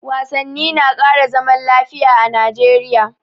Wasanni na ƙara zaman lafiya a Najeriya